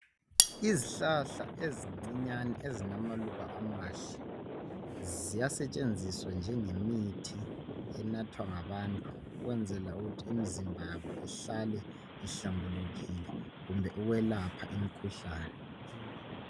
Izihlahla ezincinyane ezilamaluba amahle ziyasetshenziswa njengemithi enathwa ngabantu ukwenzela ukuthi imizimba yabo ihlale ihlambulukile kumbe ukwelapha imikhuhlane